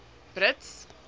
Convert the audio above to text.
brits